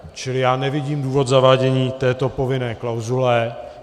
Čili já nevidím důvod zavádění této povinné klauzule.